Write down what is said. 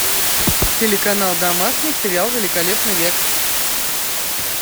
телеканал домашний сериал великолепный век